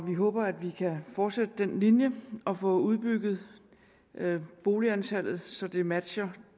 vi håber at vi kan fortsætte den linje og få udbygget boligantallet så det matcher